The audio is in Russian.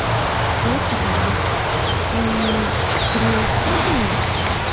просто как бы мм принять к сведению